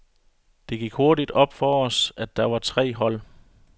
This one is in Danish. Det gik hurtigt op for os, at der var tre hold.